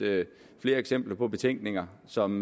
flere eksempler på betænkninger som